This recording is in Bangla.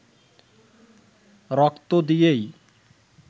রক্ত দিয়েই